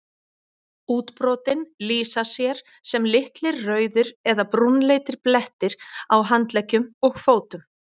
útbrotin lýsa sér sem litlir rauðir eða brúnleitir blettir á handleggjum og fótum